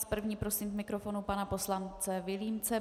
S první prosím k mikrofonu pana poslance Vilímce.